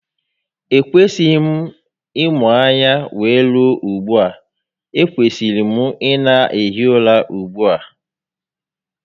E kwesịghị m ịmụ anya wee rue ugbua, e kwesiri m ị na ehi ụra ugbu a